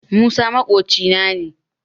Musa maƙocina ne